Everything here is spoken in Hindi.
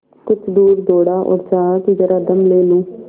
कुछ दूर दौड़ा और चाहा कि जरा दम ले लूँ